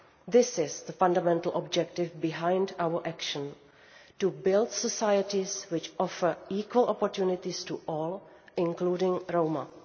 This is the fundamental objective behind our action to build societies which offer equal opportunities to all, including to Roma.